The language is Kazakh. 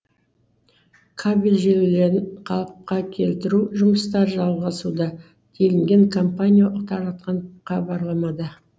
кабель желілерін қалыпқа келтіру жұмыстары жалғасуда делінген компанио таратқан хабарламада